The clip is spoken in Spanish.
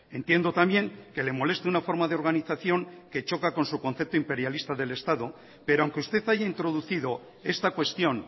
entiendo también que le moleste una forma de organización que choca con su concepto imperialista del estado pero aunque usted haya introducido esta cuestión